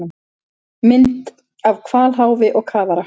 Mynd af hvalháfi og kafara.